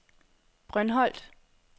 Brøndholt